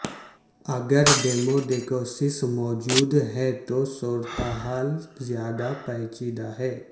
اگر ڈیموڈیکوسس موجود ہے تو صورتحال زیادہ پیچیدہ ہے